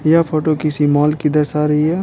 यह फोटो किसी मॉल की दर्शा रही हे ।